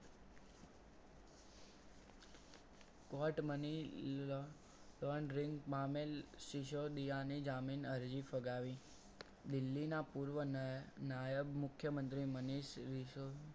Court money laundry માં મેલ સિસોદિયા ની જામીન અરજી ફગાવી દિલ્હીના પૂર્વ નાયક મુખ્યમંત્રી મનીષ